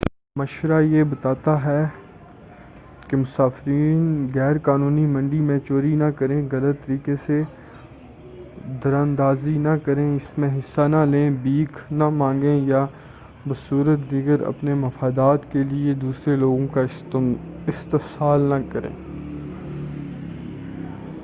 مشورہ یہ بتا تا ہے کہ مسافرین غیر قانونی منڈی میں چوری نہ کریں غلط طریقے سے دراندازی نہ کریں اس میں حصہ نہ لیں بھیک نہ مانگیں یا بصورت دیگر اپنے مفادات کے لئے دوسرے لوگوں کا استحصال نہ کریں